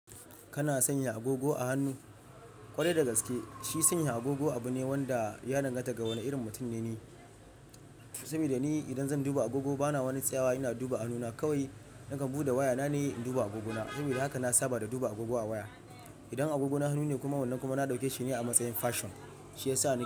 Kana sanya agogo a hannu? Kwarai da gaske, shi sanya agogo abu ne wanda ya danganta ga wane irin mutum ne. Saboda ni idan zan duba agogo bana wani tsawa ina duba hannuna kawai nakan buɗe waya na ne in duba agogona. Saboda haka na saba da duba agogo a waya. Idan agogon hannu ne kuma wannan kuma na ɗauke shi ne a matsayin fashion, shi yasa na.